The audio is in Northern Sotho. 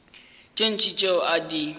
tše ntši tšeo a di